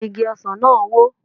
Igi ọsàn náà wó